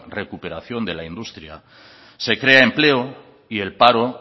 recuperación de la industria se crea empleo y el paro